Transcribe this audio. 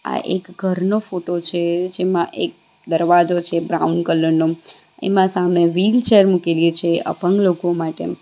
આ એક ઘરનો ફોટો છે જેમાં એક દરવાજો છે બ્રાઉન કલરનો એમાં સામે વીલ ચેર મૂકેલી છે અપંગ લોકો માટે.